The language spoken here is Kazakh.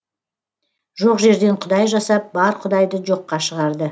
жоқ жерден құдай жасап бар құдайды жоққа шығарды